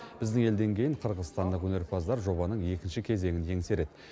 біздің елден кейін қырғызстандық өнерпаздар жобаның екінші кезеңін еңсереді